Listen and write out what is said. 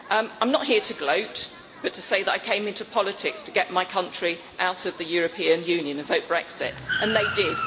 I am not here to gloat but to say that I came into politics to get my country out of the European Union and vote Brexit and they did.